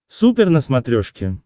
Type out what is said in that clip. супер на смотрешке